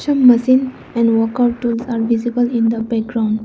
Some machine and work out tools are visible in the background.